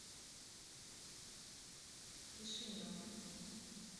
кишинев